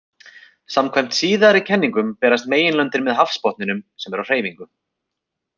Samkvæmt síðari kenningunum berast meginlöndin með hafsbotninum, sem er á hreyfingu.